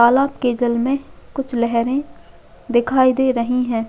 तालाब की जल में कुछ लहेरे दिखाई दे रही है।